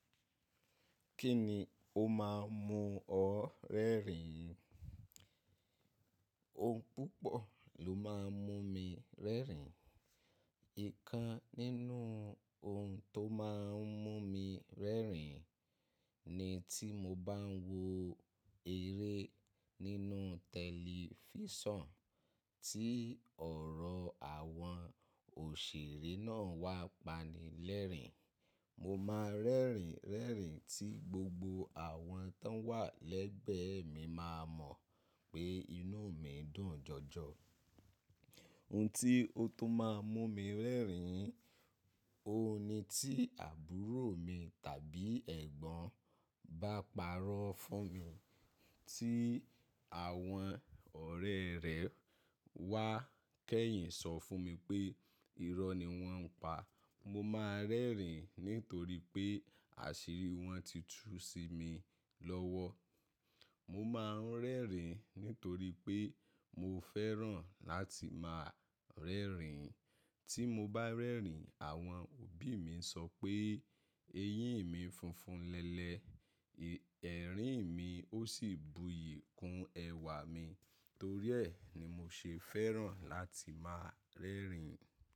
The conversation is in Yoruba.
Kí ni ó máa ń mú ọ rẹ́rìn-ín? Ohun púpọ̀ ló máa ń mú mi rẹ́rìn-ín. Ǹkan nínú ohun tó máa ń mú mi rẹ́rìn-ín ni tí mo bá ń wo eré nínú tẹlifísàn, tí ọ̀rọ̀ àwọn òṣèré náà wá pani lẹ́rìn-ín, mo máa rẹ́rìn-ín tí gbogbo àwọn tó wà lẹ́gbẹ̀ẹ́ mi máa mọ̀ pé inú mi dùn jọjọ. Ohun tí ó tún máa ń mú mi rẹ́rìn-ín, òun ni tí àbúrò mi tàbí ẹ̀gbọ́n bá parọ́ fún mi. Tí àwọn ọ̀rẹ́ rẹ̀ wá kẹ́yìn sọ fún mi pé irọ́ ni wọ́n ń pa, mo máa rẹ́rìn-ín nítorí pé àṣírí wọn ti tú sí mi lọ́wọ́. Mo máa ń rẹ́rìn-ín nítorí pé mo fẹ́ràn láti máa rẹ́rìn-ín. Tí mo bá rẹ́rìn-ín, àwọn òbí mi ń sọ pé eyín mi funfun lẹ́lẹ̀, ẹ̀rín mi ó sì buyì kún ẹwà mi, torí ẹ́ ni mo ṣe fẹ́ràn láti máa rẹ́rìn-ín.